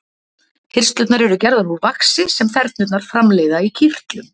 Hirslurnar eru gerðar úr vaxi sem þernurnar framleiða í kirtlum.